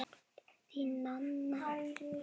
Þín, Nanna Ísold.